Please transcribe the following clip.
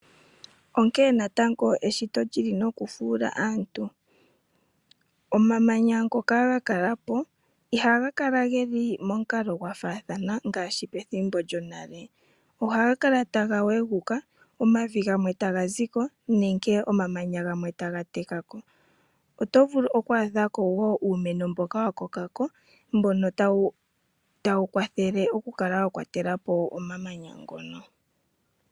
Onkene natango eshito lili nokufuula aantu. Omamanya ngoka ga kala po ihaga kala geli momukalo gwafaathana ngaashi pethimbo lyonale. Ohaga kala taga weguka omavi gamwe taga ziko nenge omamanya gamwe taga teka ko. Otovulu oku adhako wo uumeno mboka wakoka ko, mbono tawu kwathele okukala wa kwatela po omamanya ngono.